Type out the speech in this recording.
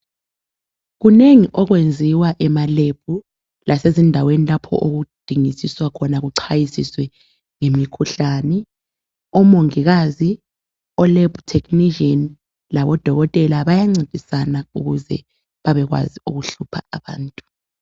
Kunengi okwenziwa ema lab lasezindaweni lapho okudingisiswa khona kuchwayisiswe ngemikhuhlane. Omongikazi, olab technician labodokotela bayancedisana ukuze babekwazi okuhlupha abantu